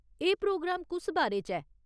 एह् प्रोग्राम कुस बारे च ऐ ?